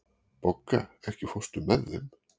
Bogga, ekki fórstu með þeim?